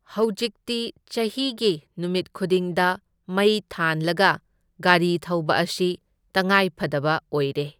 ꯍꯧꯖꯤꯛꯇꯤ ꯆꯍꯤꯒꯤ ꯅꯨꯃꯤꯠ ꯈꯨꯗꯤꯡꯗ ꯃꯩ ꯊꯥꯟꯂꯒ ꯒꯥꯔꯤ ꯊꯧꯕ ꯑꯁꯤ ꯇꯉꯥꯏꯐꯗꯕ ꯑꯣꯏꯔꯦ꯫